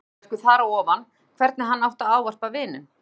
Mikill höfuðverkur þar á ofan hvernig hann átti að ávarpa vininn.